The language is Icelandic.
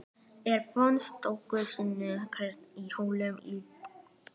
Eir finnst stöku sinnum hreinn í holum í bergi.